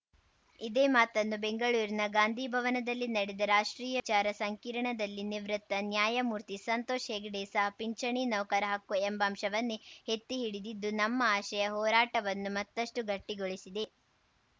ಇದೇ ಮಾತನ್ನು ಬೆಂಗಳೂರಿನ ಗಾಂಧಿ ಭವನದಲ್ಲಿ ನಡೆದ ರಾಷ್ಟ್ರೀಯ ವಿಚಾರ ಸಂಕಿರಣದಲ್ಲಿ ನಿವೃತ್ತ ನ್ಯಾಯಮೂರ್ತಿ ಸಂತೋಷ್‌ ಹೆಗಡೆ ಸಹ ಪಿಂಚಣಿ ನೌಕರ ಹಕ್ಕು ಎಂಬಂಶವನ್ನೇ ಎತ್ತಿ ಹಿಡಿದಿದ್ದು ನಮ್ಮ ಆಶಯ ಹೋರಾಟವನ್ನು ಮತ್ತಷ್ಟುಗಟ್ಟಿಗೊಳಿಸಿದೆ